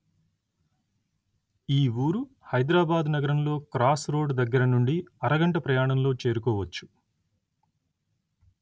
ఈ వూరు హైదరాబాదు నగరంలో క్రాస్‌రోడ్ దగ్గరనుండి అరగంట ప్రయాణంలో చేరుకోవచ్చు